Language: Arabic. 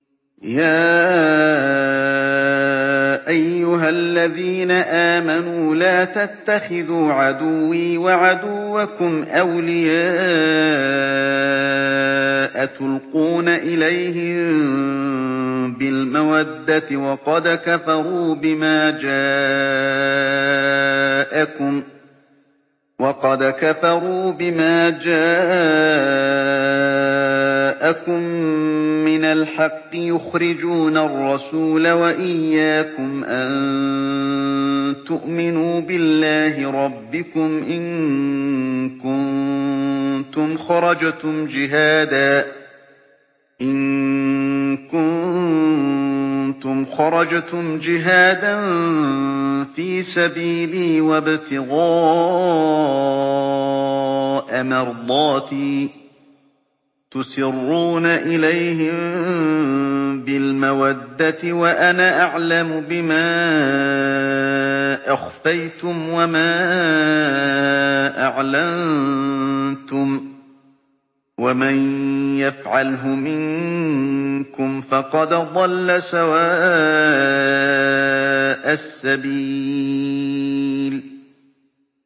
يَا أَيُّهَا الَّذِينَ آمَنُوا لَا تَتَّخِذُوا عَدُوِّي وَعَدُوَّكُمْ أَوْلِيَاءَ تُلْقُونَ إِلَيْهِم بِالْمَوَدَّةِ وَقَدْ كَفَرُوا بِمَا جَاءَكُم مِّنَ الْحَقِّ يُخْرِجُونَ الرَّسُولَ وَإِيَّاكُمْ ۙ أَن تُؤْمِنُوا بِاللَّهِ رَبِّكُمْ إِن كُنتُمْ خَرَجْتُمْ جِهَادًا فِي سَبِيلِي وَابْتِغَاءَ مَرْضَاتِي ۚ تُسِرُّونَ إِلَيْهِم بِالْمَوَدَّةِ وَأَنَا أَعْلَمُ بِمَا أَخْفَيْتُمْ وَمَا أَعْلَنتُمْ ۚ وَمَن يَفْعَلْهُ مِنكُمْ فَقَدْ ضَلَّ سَوَاءَ السَّبِيلِ